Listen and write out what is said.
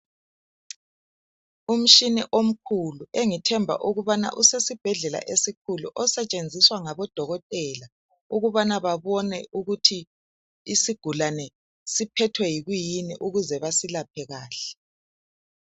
Umtshina omkhulu engithemba ukubana usesibhedlela esikhulu osetshenziswa ngabodokotela ukubana babone ukuthi isigulane siphethwe yikuyini ukuze basilaphe kahle.